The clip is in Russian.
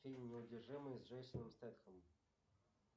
фильм неудержимые с джейсоном стетхэмом